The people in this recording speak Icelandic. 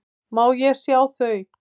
Má ég sjá þau?